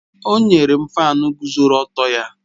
O nyere m fáan guzoro ọtọ ya